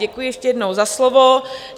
Děkuji ještě jednou za slovo.